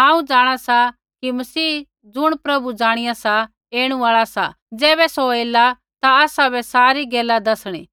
हांऊँ जाँणा सा कि मसीह ज़ुण प्रभु ज़ाणिया सा ऐणु आल़ा सा ज़ैबै सौ ऐला ता आसाबै सारी गैला दसणी